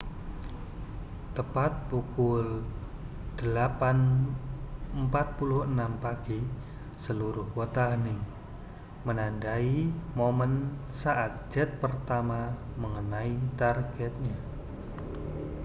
tepat pukul 08.46 pagi seluruh kota hening menandai momen saat jet pertama mengenai targetnya